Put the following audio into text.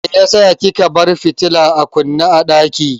Meyasa kika bar fitilar a kunne a ɗaki?